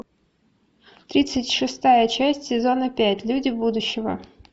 тридцать шестая часть сезона пять люди будущего